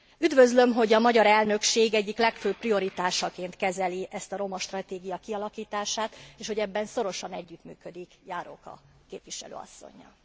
Üdvözlöm, hogy a magyar elnökség egyik legfőbb prioritásaként kezeli ezt a roma stratégia kialakítását, és hogy ebben szorosan együttműködik Járóka képviselő asszonnyal.